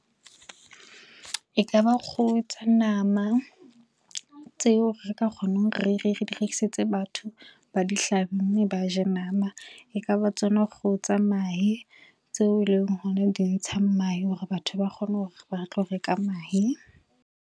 Ekaba kgoho tsa nama tseo re ka kgonang re di rekisetse batho ba di hlabe mme ba je nama. Ekaba tsona kgoho tsa mahe tseo eleng hona di ntshang mahe hore batho ba kgone hore ba tlo reka mahe.